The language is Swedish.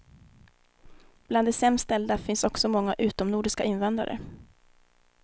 Bland de sämst ställda finns också många utomnordiska invandrare.